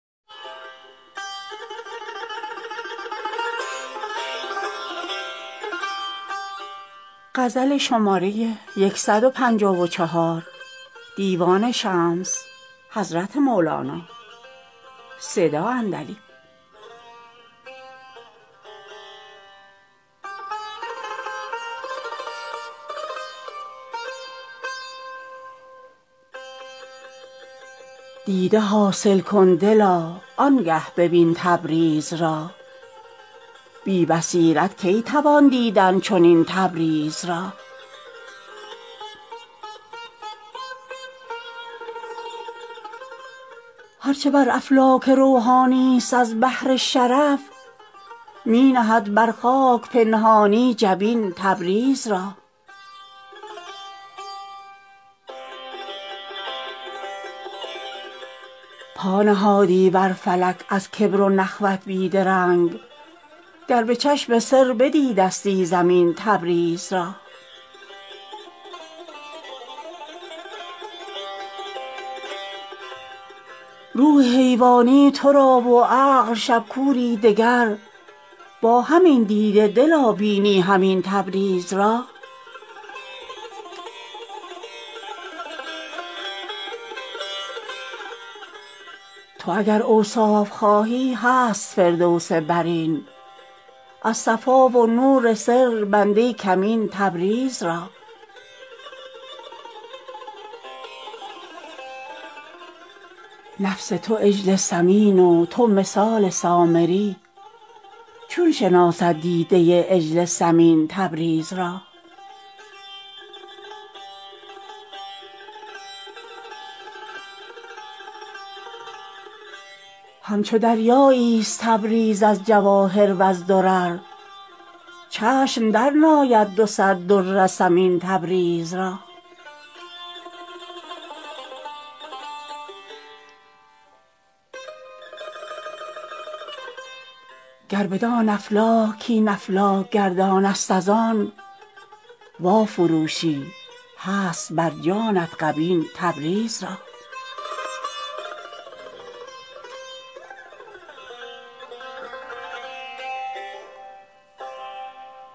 دیده حاصل کن دلا آن گه ببین تبریز را بی بصیرت کی توان دیدن چنین تبریز را هر چه بر افلاک روحانی ست از بهر شرف می نهد بر خاک پنهانی جبین تبریز را پا نهادی بر فلک از کبر و نخوت بی درنگ گر به چشم سر بدیدستی زمین تبریز را روح حیوانی تو را و عقل شب کوری دگر با همین دیده دلا بینی همین تبریز را تو اگر اوصاف خواهی هست فردوس برین از صفا و نور سر بنده کمین تبریز را نفس تو عجل سمین و تو مثال سامری چون شناسد دیده عجل سمین تبریز را همچو دریایی ست تبریز از جواهر و ز درر چشم درنآید دو صد در ثمین تبریز را گر بدان افلاک کاین افلاک گردان ست از آن وافروشی هست بر جانت غبین تبریز را گر نه جسمستی تو را من گفتمی بهر مثال جوهرین یا از زمرد یا زرین تبریز را چون همه روحانیون روح قدسی عاجزند چون بدانی تو بدین رای رزین تبریز را چون درختی را نبینی مرغ کی بینی برو پس چه گویم با تو جان جان این تبریز را